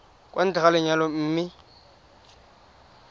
kwa ntle ga lenyalo mme